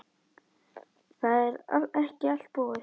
Það er ekki allt búið.